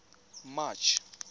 march